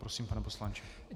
Prosím, pane poslanče.